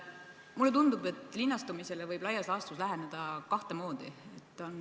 Mulle tundub, et linnastumisele võib laias laastus läheneda kahte moodi.